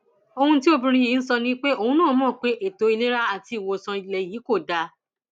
ohun tí obìnrin yìí ń sọ ni pé òun náà mọ pé ètò ìlera àti ìwòsàn ilé yìí kò dáa